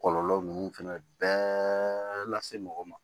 Kɔlɔlɔ ninnu fɛnɛ bɛɛ lase mɔgɔ ma